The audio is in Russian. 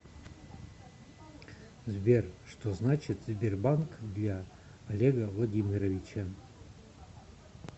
сбер что значит сбербанк для олега владимировича